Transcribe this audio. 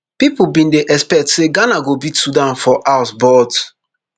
pipo bin dey expect say ghana go beat sudan for house but